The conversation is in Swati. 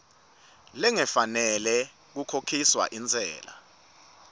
lengafanela kukhokhiswa intsela